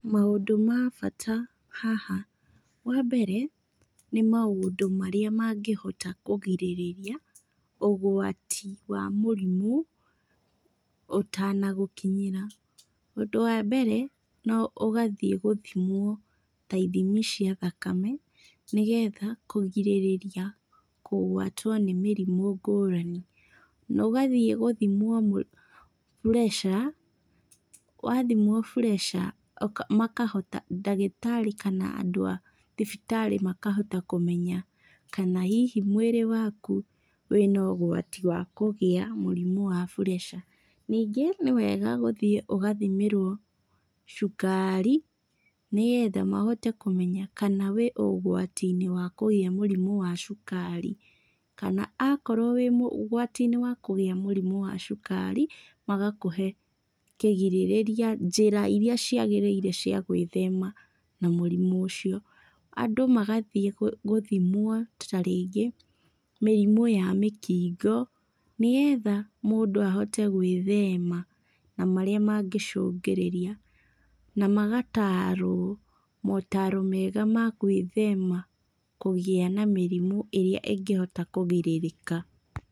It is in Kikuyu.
Maũndũ ma bata haha, wa mbere, nĩ maũndũ marĩa mangĩhota kugirĩrĩria, ũgwati wa mũrimũ, ũtanagũkinyĩra. Ũndũ wa mbere, no ũgathiĩ gũthimwo ta ithimi cia thakame, nĩgetha kũgirĩrĩria kugwatwo nĩ mĩrimũ ngũrani. Ũgathiĩ gũthimwo pressure, wathimwo pressure, makahota, ndagĩtarĩ kana andũ a thibitarĩ makahota kũmenya kana hihi mwĩrĩ waku wĩna ũgwati wa kũgia mũrimũ ya pressure. Ningĩ, nĩwega gũthiĩ ũgathimĩrwo cukari, nĩgetha mahote kũmenya kana wĩ ũgwati-inĩ wa kũgĩa mũrimu wa cukari. Na akorwo wĩ ũgwati-inĩ wa kũgĩa mũrimũ wa cukari, magakũhe kigirĩrĩria, njĩra iria ciagĩrĩire cia gwĩthema na mũrimũ ũcio. Andũ magathiĩ gũthimwo ta rĩngĩ mĩrimũ ya mĩkingo, nĩgetha mũndũ ahote gwĩthema na marĩa mangĩcũngĩrĩria, na magatarwo motaro mega ma kwĩthema kũgĩa na mĩrimũ ĩrĩa ĩngĩhota kũgirĩrĩka.